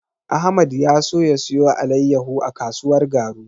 Ahmad ya so ya siyo alaiyahu a kasuwar Garu.